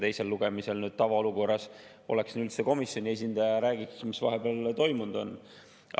Teisel lugemisel oleks tavaolukorras siin komisjoni esindaja ja räägiks, mis vahepeal toimunud on.